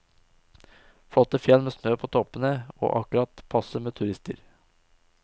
Flotte fjell med snø på toppene og akkurat passe med turister.